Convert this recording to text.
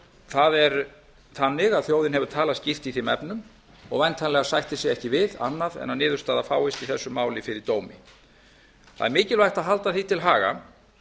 það er þannig að þjóðin hefur talað skýrt í þeim efnum og væntanlega sættir sig ekki við annað en að niðurstaða fáist í þessu máli fyrir dómi það er mikilvægt að halda því til haga